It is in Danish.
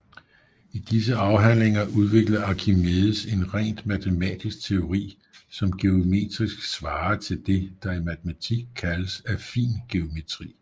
I disse afhandlinger udvikler Archimedes en rent matematisk teori som geometrisk svarer til det der i matematik kaldes affin geometri